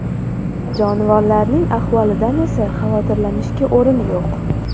Jonivorlarning ahvolidan esa xavotirlanishga o‘rin yo‘q.